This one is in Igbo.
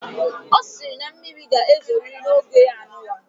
O siri na mmiri ga ezoriri na oge anunwa